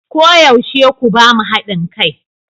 Koyaushe ku ba mu hadin kai.